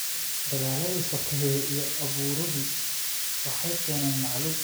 Dagaalladii sokeeye iyo abaaruhu waxay keeneen macaluul.